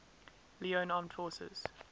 leone armed forces